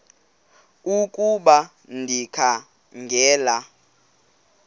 ukuba ndikha ngela